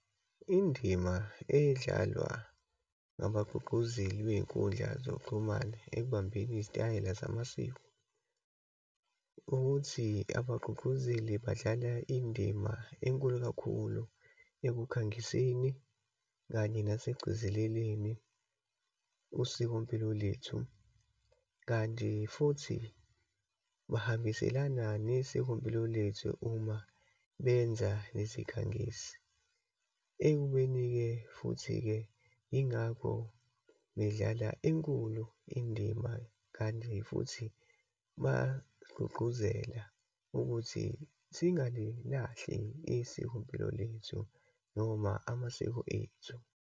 Indima edlalwa ngabagqugquzeli kwiyinkundla zokuxhumana ekubambeni izitayela zamasiko, ukuthi abagqugquzeli badlala indima enkulu kakhulu ekukhangiseni, kanye nesekugcezeleleni usikompilo lwethu. Kanti futhi bahambiselana nesikompilo lethu uma benza lezikhangisi. Ekubeni-ke futhi-ke, yingakho bedlala enkulu indima, kanti futhi bagqugquzela ukuthi singalilahli isikompilo lethu, noma amasiko ethu.